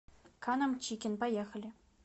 каннам чикен поехали